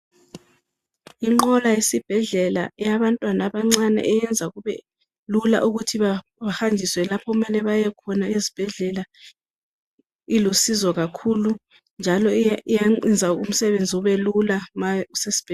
Inqola yesibhedlela yabantwana abancane yenza kube Lula ukuthi behanjiswe lapho okumele bayekhona esibhedlela ilusizo kakhulu njalo iyayenza umsebenzi ube Lula ma kusesibhedlela